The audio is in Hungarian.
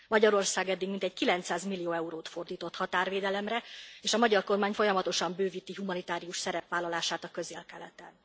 Magyarország eddig mintegy 900 millió eurót fordított határvédelemre és a magyar kormány folyamatosa bővíti humanitárius szerepvállalását a Közel Keleten.